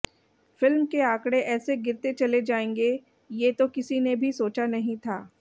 film के आंकड़े ऐसे गिरते चले जाएंगे ये तो किसी ने भी सोचा नहीं था